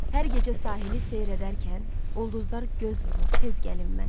Hər gecə sahili seyr edərkən, ulduzlar göz vurur, tez gəlin mən.